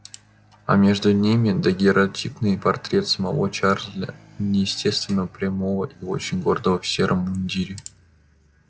а между ними дагерротипный портрет самого чарлза неестественно прямого и очень гордого в сером мундире